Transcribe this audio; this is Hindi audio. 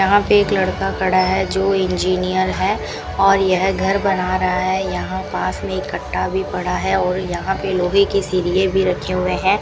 यहां पे एक लड़का खड़ा है जो इंजीनियर है और यह घर बना रहा है यहां पास में ये कट्टा भी पड़ा है और यहां पे लोहे की सरिए भी रखे हुए है।